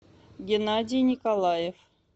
геннадий николаев